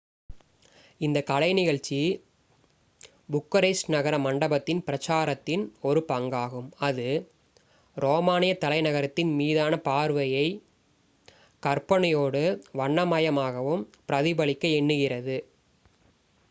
இந்த கலை நிகழ்ச்சி புக்கரெஸ்ட் நகர மண்டபத்தின் பிரச்சாரத்தின் ஒரு பங்காகும் அது ரோமானிய தலைநகரத்தின் மீதான பார்வையை கற்பனையோடும் வண்ண மயமாகவும் பிரதிபலிக்க எண்ணுகிறது